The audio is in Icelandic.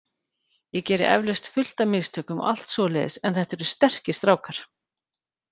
Ég geri eflaust fullt af mistökum og allt svoleiðis en þetta eru sterkir strákar.